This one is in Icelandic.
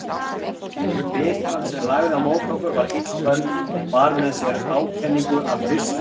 Bitran sem lagði á móti okkur var illköld og bar með sér ákenningu af hausti.